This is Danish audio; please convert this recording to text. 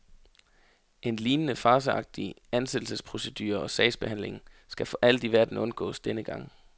En lignende farceagtig ansættelsesprocedure og sagsbehandling skal for alt i verden undgås denne gang.